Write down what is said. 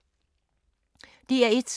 DR1